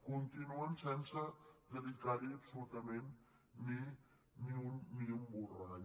continuen sense dedicar hi absolutament ni un borrall